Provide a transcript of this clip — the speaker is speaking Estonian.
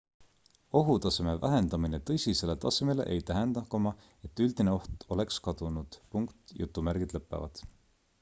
ohutaseme vähendamine tõsisele tasemele ei tähenda et üldine oht oleks kadunud